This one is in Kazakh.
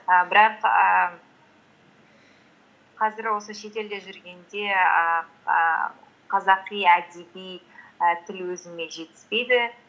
ы бірақ ііі қазір осы шетелде жүргенде ііі қазақи әдеби і тіл өзіме жетіспейді